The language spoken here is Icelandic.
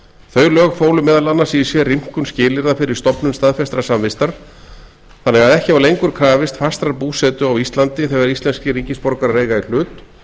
þau lög fólu meðal annars í sér rýmkun skilyrða fyrir stofnun staðfestrar samvistar þannig að ekki var lengur krafist fastrar búsetu á íslandi þegar íslenskir ríkisborgarar eiga í hlut